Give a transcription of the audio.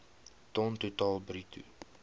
ton totaal bruto